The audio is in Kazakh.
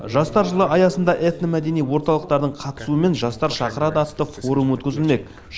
жастар жылы аясында этномәдени орталықтардың қатысуымен жастар шақырады атты форум өткізілмек